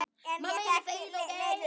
En ég fékk lítil svör.